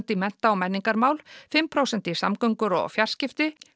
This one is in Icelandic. í mennta og menningarmál fimm prósent í samgöngur og fjarskipti